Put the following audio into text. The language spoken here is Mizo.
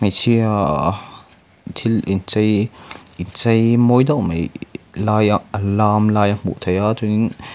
hmeichhia thil in chei in chei mawi deuh mai lai ah an lam lai a hmuh theih chuanin--